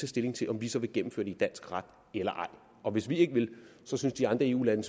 stilling til om vi så vil gennemføre det i dansk ret eller ej og hvis vi ikke vil så synes de andre eu lande